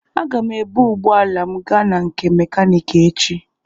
Aga m ebu ụgbọala m gaa na nke mekaniki echi.